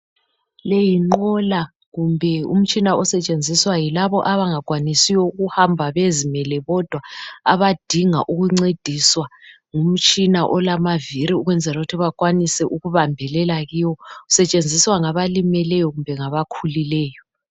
Le yinqola kumbe umtshina osetshenziswa yilabo abangakwanisiyo ukuhamba bezimele bodwa abadinga ukuncediswa ngumtshina olama viri ukwenzela ukuthi bakwanise ukubambelela kiwo. Usetshenziswa ngaba limeleyo kumbe ngabakhulileyo.